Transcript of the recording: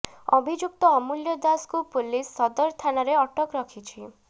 ଅଭିଯୁକ୍ତ ଅମୂଲ୍ୟ ଦାସଙ୍କୁ ପୁଲିସ୍ ସଦର ଥାନାରେ ଅଟକ ରଖିଛି